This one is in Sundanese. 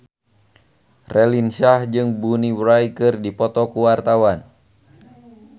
Raline Shah jeung Bonnie Wright keur dipoto ku wartawan